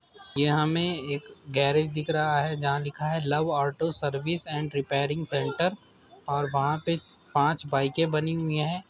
ये हमें एक गैरेज दिख रहा है जहाँ लिखा है love auto service and repairing centre और वहाँ पे पाँच बाइकें बनी हुई हैं।